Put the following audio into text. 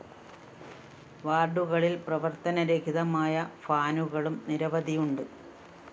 വാര്‍ഡുകളില്‍ പ്രവത്തനരഹിതമായ ഫാനുകളും നിരവധിയുണ്ട്